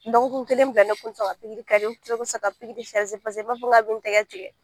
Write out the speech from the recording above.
Dɔgɔkun kelen bilalen ne kun tɛ son ka pikiri kɛ dɛ un kun tɛ son ka pikiri paseke n b'a fɔ ko ka bɛ n tɛgɛ tigɛ.